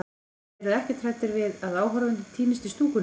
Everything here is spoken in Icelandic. Þið eruð ekkert hræddir við að áhorfendur týnist í stúkunni þar?